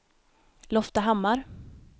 Loftahammar